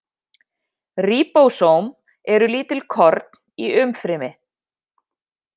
Ríbósóm eru lítil korn í umfrymi.